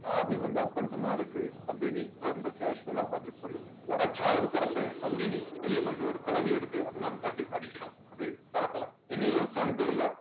சாவி உங்க அப்பன்ட்டதான் இருக்கு அப்படின்னு ரொம்ப casual அ பதில் சொல்லுது உடைச்சாவது தொறப்பேன் அப்படின்னு வெளிய வந்து ஒரு குளவியை எடுத்து அது மேல தட்டி அடிக்கிறான் அது தொரக்கல என்ன யோசிச்சான்னு தெரியல